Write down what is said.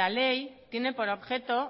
la ley tiene por objeto